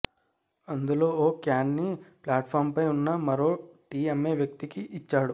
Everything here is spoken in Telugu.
అందులో ఓ క్యాన్ని ఫ్లాట్ ఫాంపై ఉన్న మరో టీ అమ్మే వ్యక్తికి ఇచ్చాడు